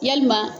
Yalima